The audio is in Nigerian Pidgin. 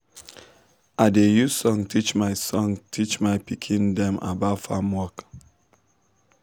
i da use song teach my song teach my pikin dem about farm work